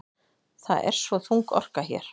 Það er svo þung orka hér.